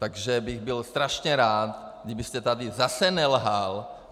Takže bych byl strašně rád, kdybyste tady zase nelhal.